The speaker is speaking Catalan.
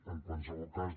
en qualsevol cas